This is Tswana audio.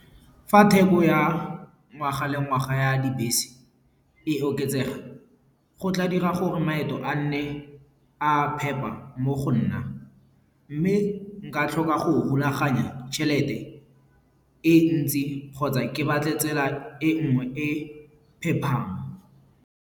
Fa theko ya ngwaga le ngwaga ya dibese e oketsega, go tla dira gore maeto a nne a phepa mo go nna. Mme nka tlhoka go rulaganya tšhelete e ntsi kgotsa ke batle tsela e nngwe e pephang.